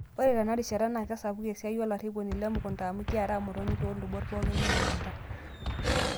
Naa ore Tena rishata naa kesapuku esiaai olarriponi Le mukunta amuu kiaaraa motonyi too lubot pooki emukunta.